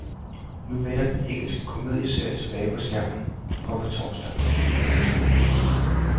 Nu vender den engelske komedieserie tilbage på skærmen fra på torsdag. punktum